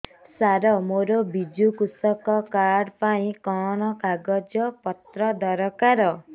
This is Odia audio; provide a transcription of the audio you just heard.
ସାର ମୋର ବିଜୁ କୃଷକ କାର୍ଡ ପାଇଁ କଣ କାଗଜ ପତ୍ର ଦରକାର